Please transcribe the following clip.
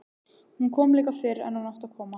Hún kom líka fyrr en hún átti að koma.